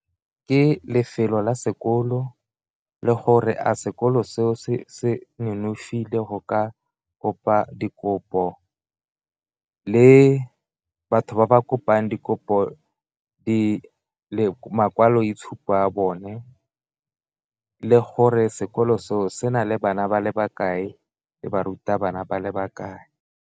Ke lefelo la sekolo le gore a sekolo seo se nonofile go ka kopa dikopo, le batho ba ba bopang dikopo makwaloitshupo a bone le gore sekolo seo se na le bana ba le bakae le barutabana ba le bakae.